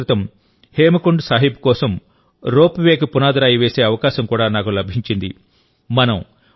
కొద్దిరోజుల క్రితం హేమకుండ్ సాహిబ్ కోసం రోప్వేకి పునాది రాయి వేసే అవకాశం కూడా నాకు లభించింది